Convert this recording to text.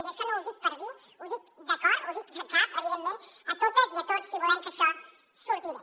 i això no ho dic per dirho ho dic de cor ho dic de cap evidentment a totes i a tots si volem que això surti bé